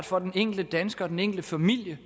for den enkelte dansker for den enkelte familie